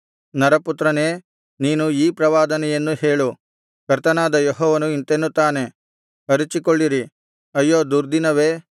ನರಪುತ್ರನೇ ನೀನು ಈ ಪ್ರವಾದನೆಯನ್ನು ಹೇಳು ಕರ್ತನಾದ ಯೆಹೋವನು ಇಂತೆನ್ನುತ್ತಾನೆ ಅರಚಿಕೊಳ್ಳಿರಿ ಅಯ್ಯೋ ದುರ್ದಿನವೇ